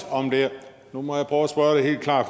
på mange år